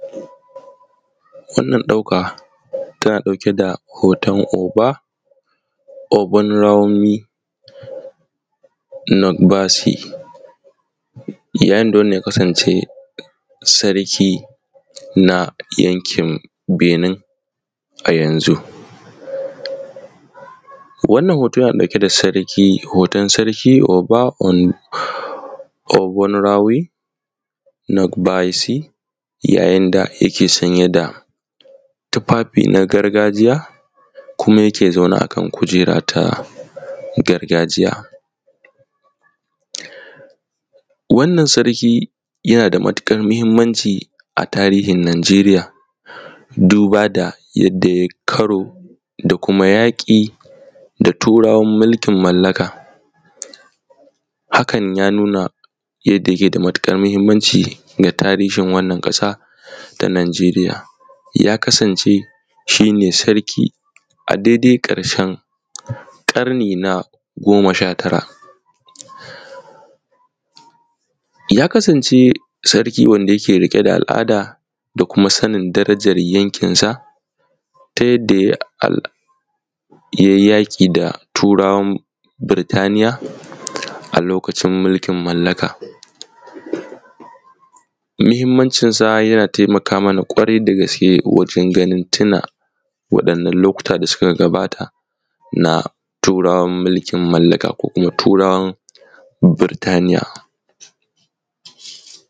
Wannan ɗauka tana ɗauke da hoton oba, obanarawomi natbasi ya yinda wannan ya kasan ce sarki na yankin binin a yanzu. Wannan hoto yana ɗauke da sarki hoton sarki oba obanarawi natbisi ya yinda yake sanye da tufafi na gargajiya kuma yake zauna kuma yake zaune akan kujera ta gargajiya. Wannan sarki yana da matuƙar mahimmanci a tarihin nageriya duba da yanda yayi karo da kuma yaƙi da turawan mulkin mallaka hakan ya nuna yanda yake da matuƙar mahimmanci ga tarihin wannan ƙasa ta najeriya. Ya kasan ce shine sarki a daidai ƙarshen ƙarni na goma shatara. Ya kasan ce sarki wanda yake rike da al’ada da kuma sanin darajar yankin sa ta yadda yayi yaƙi da turawan Burtaniya a lokacin mulkin mallaka. Mahimammancin sa yana taimaka mana kwarai da gaske wajen ganin tuna wa ɗannan lokuta da suka gabata na turawan mulkin mallaka ko kuma turawan Burtaniya.